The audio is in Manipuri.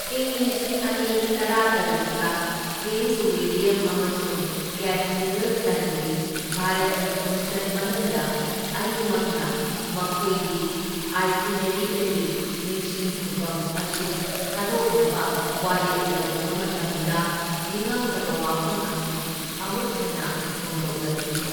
ꯢꯪ ꯂꯤꯁꯤꯡ ꯑꯅꯤ ꯇꯔꯥꯇꯔꯨꯛꯇ ꯄ꯭ꯔꯤꯟꯁ ꯋꯤꯂꯤꯌꯝ ꯑꯃꯁꯨꯡ ꯀꯦꯠ ꯃꯤꯗꯜꯇꯟꯒꯤ ꯚꯥꯔꯠꯀꯤ ꯈꯣꯡꯆꯠ ꯃꯅꯨꯡꯗ ꯑꯅꯤꯃꯛꯅ ꯃꯈꯣꯏꯒꯤ ꯑꯥꯏꯇꯤꯅꯦꯔꯤꯗꯒꯤ ꯅꯤꯡꯁꯤꯡ ꯈꯨꯕꯝ ꯑꯁꯤ ꯊꯥꯗꯣꯛꯅꯕ ꯋꯥꯔꯦꯞ ꯂꯧꯈꯤꯕ ꯃꯇꯝꯗ ꯅꯤꯡꯉꯝꯗꯕ ꯋꯥꯐꯝ ꯑꯁꯤ ꯑꯃꯨꯛ ꯍꯟꯅ ꯐꯣꯡꯗꯣꯛꯂꯛꯈꯤ꯫